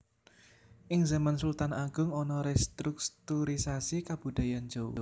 Ing zaman Sultan Agung ana restrukturisasi kabudayan jawa